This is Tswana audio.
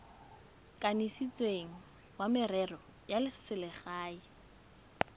kanisitsweng wa merero ya selegae